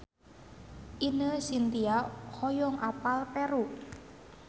Ine Shintya hoyong apal Peru